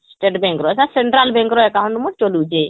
State Bank ରCentral Bank ର account ମୁଇଁ ଚଲଉଛି